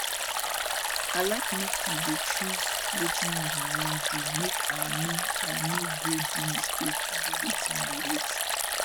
i like make you dey choose wetin you wan do make i no i no go do mistake do wetin you hate